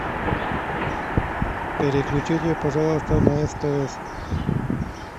переключите пожалуйста на стс